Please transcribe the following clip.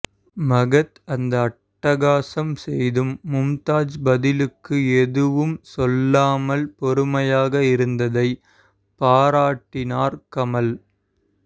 மகத் அந்த அட்டகாசம் செய்தும் மும்தாஜ் பதிலுக்கு எதுவும் சொல்லாமல் பொறுமையாக இருந்ததை பாராட்டினார் கமல்